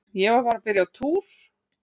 Ég var bara að byrja á túr.